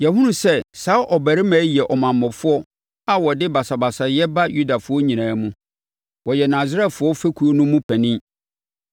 “Yɛahunu sɛ saa ɔbarima yi yɛ ɔmammɔfoɔ a ɔde basabasayɛ ba Yudafoɔ nyinaa mu. Ɔyɛ Nasarefoɔ fekuo no mu panin.